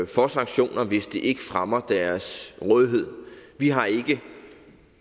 for sanktioner hvis det ikke fremmer deres rådighed vi har ikke